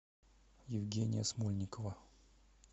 евгения смольникова